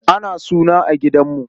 Ana suna gidan Audu.